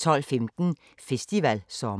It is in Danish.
12:15: Festivalsommer